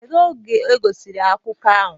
kedu oge egosiri akụkọ ahụ